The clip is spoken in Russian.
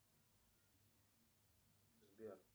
сбер